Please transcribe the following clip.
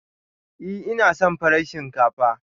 Ee, ina son farar shinkafa.